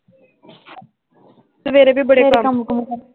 ਸਵੇਰੇ ਵੀ ਬੜੇ ਕੰਮ ਹੋਰ ਕੰਮ